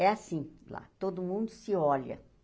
É assim lá, todo mundo se olha